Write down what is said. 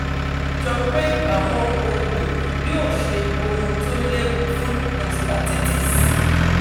ó jọ pé àwọn oògùn yìí yóò ṣe ohun tó léwu fún prostatitis